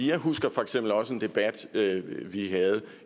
jeg husker for eksempel også en debat vi havde